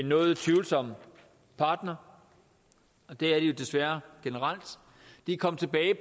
noget tvivlsom partner og det er de desværre generelt de er kommet tilbage